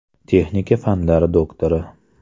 Texnika fanlari doktori.